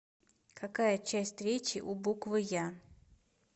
какая часть речи у буквы я